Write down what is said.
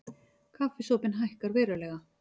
Kaffisopinn hækkar verulega